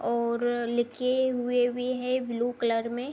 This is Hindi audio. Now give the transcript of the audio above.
और लिखे हुए भी हैं ब्‍लू कलर में ।